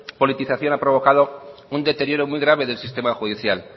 politización ha provocado un deterioro muy grave del sistema judicial